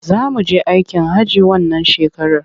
Za mu je aikin hajji wannan shekarar.